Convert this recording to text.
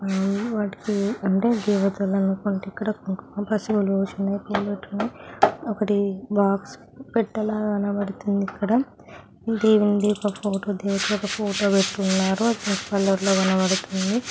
ఆ వాటికి అంటే దేవతల వంటికి కుంకం పసుపు పూసున్నాయ్. పూలు పెట్టున్నాయ్. ఒకటి బాక్స్ పెట్టెలా కనపడుతుంది ఇక్కడ. దేవుంది ఒక ఫోటో ఒక ఫోటో పెట్టున్నారు. కలర్ లో కనపడుతుంది.